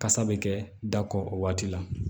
Kasa bɛ kɛ da kɔ o waati la